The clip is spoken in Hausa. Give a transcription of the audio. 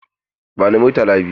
Bani Murtala biyu!